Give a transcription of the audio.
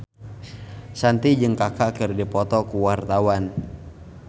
Shanti jeung Kaka keur dipoto ku wartawan